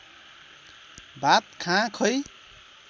भात खाँ खै